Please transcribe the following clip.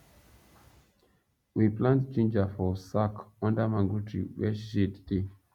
we plant ginger for sack under mango tree where shade dey